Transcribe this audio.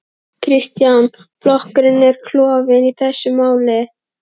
Kristján: Flokkurinn er klofinn í þessu máli?